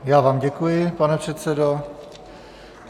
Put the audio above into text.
Já vám děkuji, pane předsedo.